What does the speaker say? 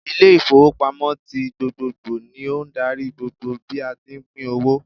Ile ìfowópamọ́ tí gbogbogbò ni ó n darí gbogbo bí a tí pín owó